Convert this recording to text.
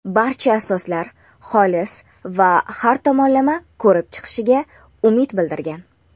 barcha asoslar xolis va har tomonlama ko‘rib chiqilishiga umid bildirgan.